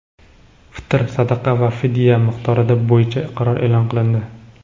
fitr sadaqa va fidya miqdori bo‘yicha qarori e’lon qilindi.